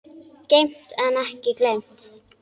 Geymt en ekki gleymt